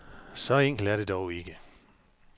Så enkelt er det dog ikke.